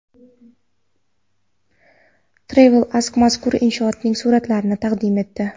TravelAsk mazkur inshootning suratlarini taqdim etdi .